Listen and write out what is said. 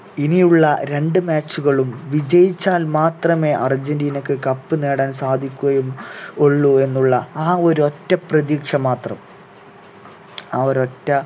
ഇനിയുള്ള രണ്ട് match കളും വിജയിച്ചാൽ മാത്രമെ അർജന്റീനയ്ക്ക് cup നേടാൻ സാധിക്കുകയും ഉള്ളൂ എന്നുള്ള ആ ഒരൊറ്റ പ്രതീക്ഷ മാത്രം ആ ഒരറ്റ